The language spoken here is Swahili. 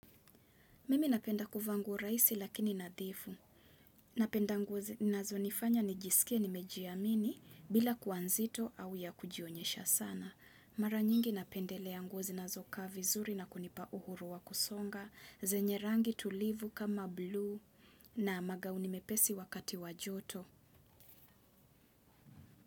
Mimi napenda kuvaa nguo rahisi lakini nadhifu. Napenda nguo zinazonifanya nijisikie nimejiamini bila kuwa nzito au ya kujionyesha sana. Mara nyingi napendelea nguo zinazokaa vizuri na kunipa uhuru wa kusonga. Zenye rangi tulivu kama blue na magauni mepesi wakati wa joto.